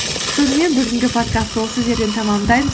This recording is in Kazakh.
сонымен бүгінгі подкастты осы жерден тәмамдаймыз